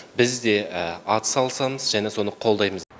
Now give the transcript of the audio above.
біз де атсалысамыз және соны қолдаймыз